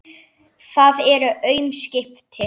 Það eru aum skipti.